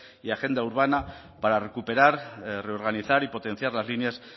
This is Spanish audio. y agenda urbana para recuperar reorganizar y potenciar las líneas